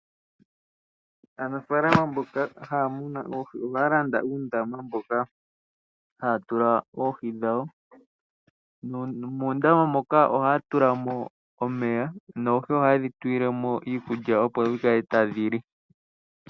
Aanafaalama mboka haya munu oohi ohaya landa uundama moka haya tula oohi dhawo nomoondama moka ohaya tula mo omeya, noohi ohaye dhi tulile mo iikulya opo dhi kale tadhi li.